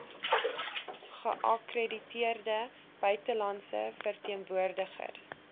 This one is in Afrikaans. geakkrediteerde buitelandse verteenwoordigers